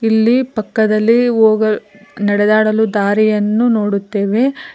ಇಲ್ಲಿ ಪಕ್ಕದಲ್ಲಿ ಹೊಗ ನಡೆದಾಡಲು ದಾರಿಯನ್ನು ನೋಡುತ್ತೇವೆ.